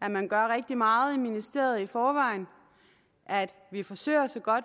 at man gør rigtig meget i ministeriet i forvejen at vi forsøger så godt